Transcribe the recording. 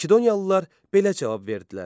Makedoniyalılar belə cavab verdilər: